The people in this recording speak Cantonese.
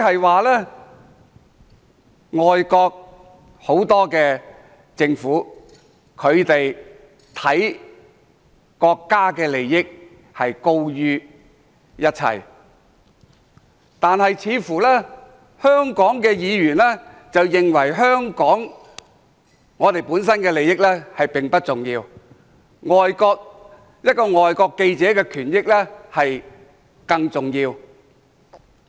換言之，外國很多政府重視國家利益多於一切，但香港的議員似乎認為香港本身的利益並不重要，一名外國記者的權益更重要。